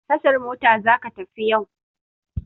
Tashar mota za ka tafi yau!